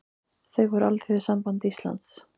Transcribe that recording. Þau voru Alþýðusamband Íslands